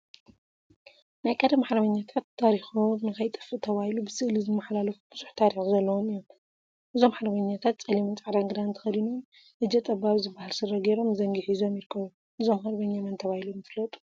ናይ ቀደም ሓርበኛታት ታሪኮም ንከይጠፍእ ተባሂሉ ብስእሊ ዝመሓላለፍ ቡዝሕ ታሪክ ዘለዎም እዮም፡፡ እዞም ሓርበኛ ፀሊምን ፃዕዳን ክዳን ተከዲኖም እጀ ጠባብ ዝበሃል ስረ ገይሮም ዘንጊ ሒዞም ይርከቡ፡፡ እዞም ሃርበኛ መን ተባሂሎም ይፈለጡ?